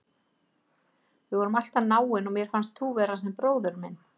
Við vorum alltaf náin og mér fannst þú vera sem bróðir minn.